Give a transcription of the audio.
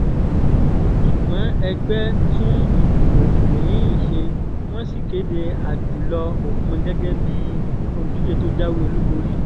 ṣùgbọ́n ẹgbẹ́ tún ìdìbò mi-ín ṣe wọ́n sì kéde ajùlọ-òpin gẹ́gẹ́ bíi olùdíje tó jáwé olúborí